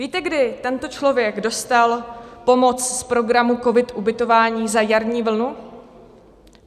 Víte, kdy tento člověk dostal pomoc z programu COVID - Ubytování za jarní vlnu?